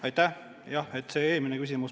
Aitäh!